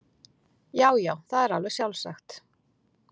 Já já, það er alveg sjálfsagt.